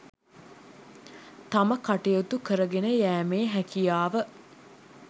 තම කටයුතු කරගෙන යෑමේ හැකියාව